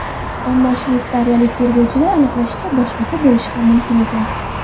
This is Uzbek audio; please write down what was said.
Ammo shveysariyalik tergovchilar aniqlashicha, boshqacha bo‘lishi ham mumkin ekan.